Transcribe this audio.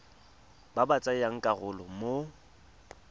ba ba tsayang karolo mo